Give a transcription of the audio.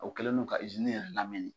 O kɛlen do ka izini yɛrɛ lamini